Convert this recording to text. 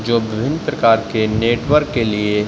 जो बिभिन्न प्रकार के नेटवर्क के लिए --